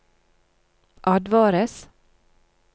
advares